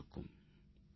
தொலைபேசி அழைப்பு 3